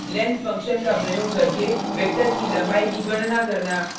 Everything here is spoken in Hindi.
length फंक्शन का प्रयोग करके वेक्टर की लम्बाई की गणना करना